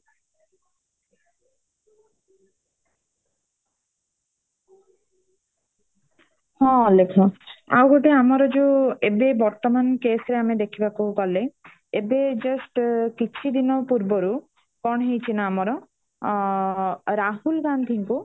ହଁ ଅଲେଖ ଆଉ ଗୋଟେ ଆମର ଯୋଉ ଏବେ ବର୍ତମାନ case ରେ ଦେଖିବାକୁ ଗଲେ ଏବେ just କିଛି ଦିନ ପୂର୍ବରୁ କଣ ହେଇଛି ନା ଆମର ଅ ରାହୁଲ ଗାନ୍ଧୀଙ୍କୁ